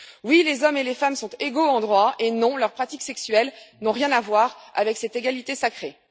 Oui, les hommes et les femmes sont égaux en droit, et non, leurs pratiques sexuelles n'ont rien à voir avec cette égalité sacrée.